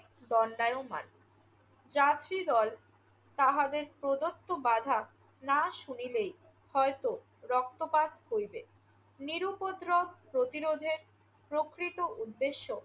দণ্ডায়মান। যাত্রীদল তাহাদের প্রদত্ত বাধা না শুনিলেই হয়ত রক্তপাত হইবে। নিরুপদ্রব প্রতিরোধের প্রকৃত উদ্দেশ্য